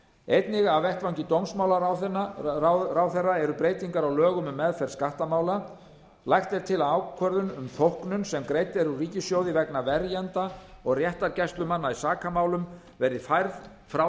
einnig af vettvangi dómsmálaráðherra eru breytingar á lögum um meðferð skattamála lagt er til að ákvörðun um þóknun sem greidd er úr ríkissjóði vegna verjenda og réttargæslumanna í sakamálum verði færð frá